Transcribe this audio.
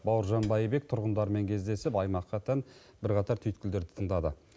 бауыржан байбек тұрғындармен кездесіп аймаққа тән бірқатар түйіткілдерді тыңдады